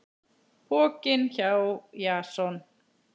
Pokinn hjá Jason